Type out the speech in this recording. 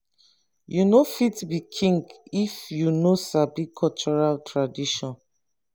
you no fit be king if you no sabi cultural tradition